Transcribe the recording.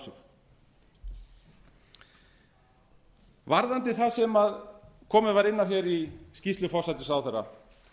sig varðandi það sem komið var inn á í skýrslu forsætisráðherra